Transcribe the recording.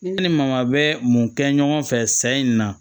Ne ni maa bɛ mun kɛ ɲɔgɔn fɛ sa in na